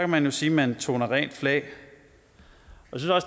man jo sige man toner rent flag